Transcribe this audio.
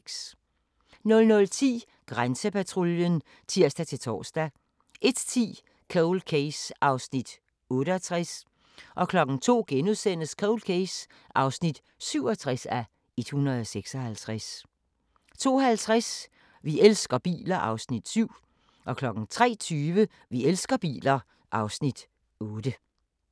00:10: Grænsepatruljen (tir-tor) 01:10: Cold Case (68:156) 02:00: Cold Case (67:156)* 02:50: Vi elsker biler (Afs. 7) 03:20: Vi elsker biler (Afs. 8)